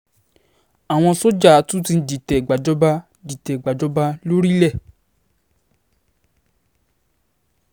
àwọn sójà tún ti dìtẹ̀ gbàjọba dìtẹ̀ gbàjọba lórílẹ̀